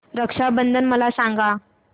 रक्षा बंधन मला सांगा